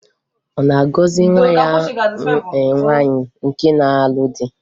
Ọ na-agọzị nwa ya nwaanyị nke na-alụ di?